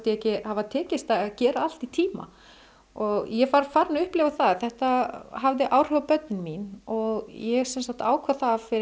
ekki hafa tekist að gera allt í tíma og ég var farin að upplifa það að þetta hafði áhrif á börnin mín og ég sem sagt ákvað það fyrir